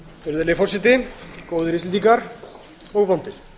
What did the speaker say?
virðulegi forseti góðir íslendingar og vondir